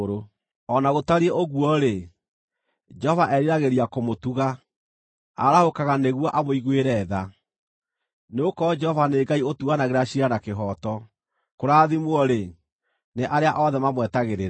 O na gũtariĩ ũguo-rĩ, Jehova eriragĩria kũmũtuga; arahũkaga nĩguo amũiguĩre tha. Nĩgũkorwo Jehova nĩ Ngai ũtuanagĩra ciira na kĩhooto. Kũrathimwo-rĩ, nĩ arĩa othe mamwetagĩrĩra.